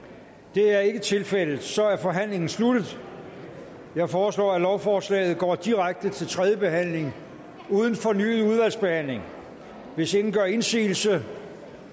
det er ikke tilfældet og så er forhandlingen sluttet jeg foreslår at lovforslaget går direkte til tredje behandling uden fornyet udvalgsbehandling hvis ingen gør indsigelse